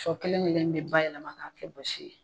So kelen kelen in bi bayɛlɛma ka kɛ basi ye.